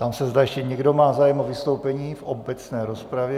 Ptám se, zda ještě někdo má zájem o vystoupení v obecné rozpravě.